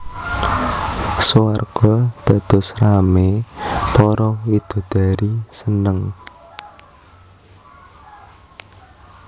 Swarga dados ramé para widodari seneng